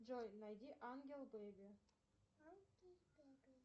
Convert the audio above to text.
джой найди ангел беби